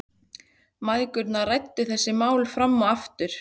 Mæðgurnar ræddu þessi mál fram og aftur.